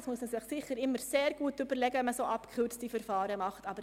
Es muss stets gut überlegt sein, wenn abgekürzte Verfahren gemacht werden.